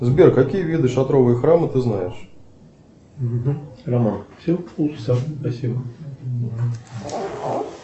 сбер какие виды шатровые храмы ты знаешь